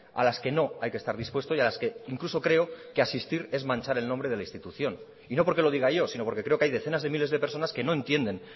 a las que no hay que estar dispuesto y a las que incluso creo que asistir es manchar el nombre de la institución y no porque lo diga yo sino porque creo que hay decenas de miles de personas que no entienden